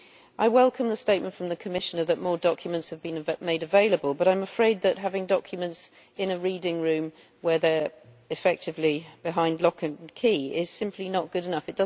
I welcome the statement from the Commissioner that more documents have been made available, but I am afraid that having documents in a reading room where they are effectively behind lock and key is simply not good enough.